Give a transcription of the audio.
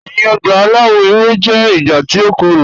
Ẹ̀yin ọ̀gba alawọ̀ ewé jẹ̀ ìgbà tí o kọ́rọ̀.